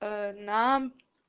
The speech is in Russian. нам